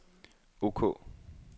ok